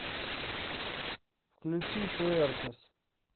включи пуэркос